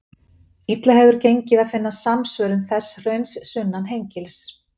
Illa hefur gengið að finna samsvörun þess hrauns sunnan Hengils.